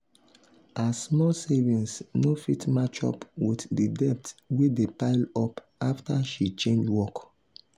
her small savings no fit match up with the debt wey dey pile up after she change work.